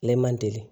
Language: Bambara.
Ale man deli